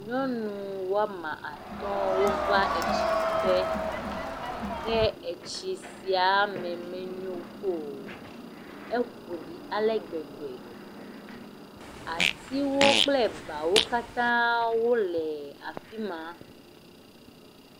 Nyɔnu woame atɔ̃wova etsi ku ge, ke etsi sia me menyo o. Eƒo ɖi alegbegbe. Atiwo kple ebawo katã le afima